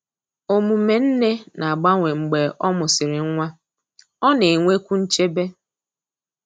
Omume nne na-agbanwe mgbe ọ mụsịrị nwa—ọ na-enwekwu nchebe.